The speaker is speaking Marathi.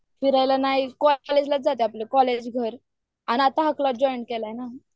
आता काय नाही फक्त कॉलेज घर आणि आता हा क्लब जॉईन केलाय ना